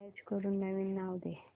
save as करून नवीन नाव दे